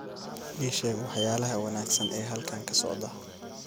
ii sheeg waxyaalaha wanaagsan ee halkan ka socda